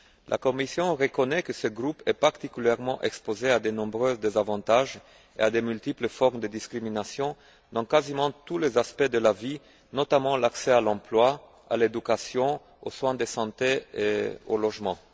La Commission reconnaît que ce groupe est particulièrement exposé à de nombreux désavantages et à de multiples formes de discrimination dans quasiment tous les aspects de la vie, notamment l'accès à l'emploi, à l'éducation, aux soins de santé et au logement.